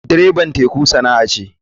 Dreban teku sana'a ce.